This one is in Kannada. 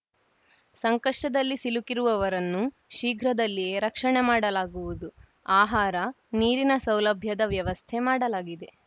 ಸಂಕಷ್ಟದಲ್ಲಿ ಸಿಲುಕಿರುವವರನ್ನು ಶೀಘ್ರದಲ್ಲಿಯೇ ರಕ್ಷಣೆ ಮಾಡಲಾಗುವುದು ಆಹಾರ ನೀರಿನ ಸೌಲಭ್ಯದ ವ್ಯವಸ್ಥೆ ಮಾಡಲಾಗಿದೆ